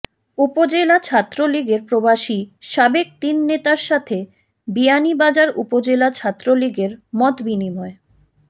উপজেলা ছাত্রলীগের প্রবাসী সাবেক তিন নেতার সাথে বিয়ানীবাজার উপজেলা ছাত্রলীগের মতবিনিময়